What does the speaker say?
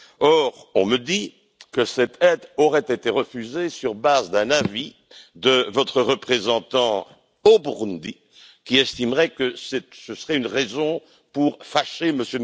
Or, on me dit que cette aide aurait été refusée sur la base d'un avis de votre représentant au Burundi, qui estimerait que cela fâcherait M.